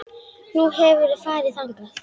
Nú, hefurðu farið þangað?